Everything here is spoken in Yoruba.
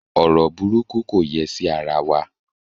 Ọrọ burúkú kò yẹ sí ara wa